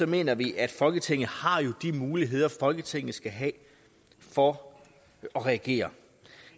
mener vi at folketinget har de muligheder folketinget skal have for at reagere